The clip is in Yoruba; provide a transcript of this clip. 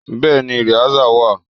Bẹ́ẹ̀ni rìásà wà.